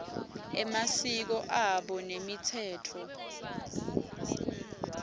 emasiko abo nemitsetfo